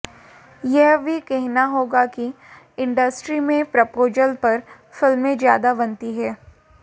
यह भी कहना होगा कि इंडस्ट्री में प्रपोजल पर फिल्में ज्यादा बनती हैं